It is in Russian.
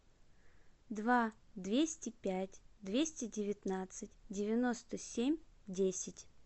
два двести пять двести девятнадцать девяносто семь десять